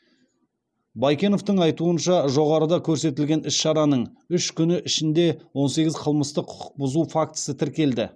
байкеновтің айтуынша жоғарыда көрсетілген іс шараның үш күні ішінде он сегіз қылмыстық құқық бұзу фактісі тіркелді